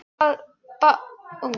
Baðst afsökunar á ónæðinu og færði mig.